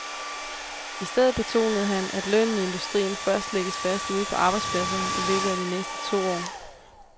I stedet betonede han, at lønnen i industrien først lægges fast ude på arbejdspladserne i løbet af de næste to år.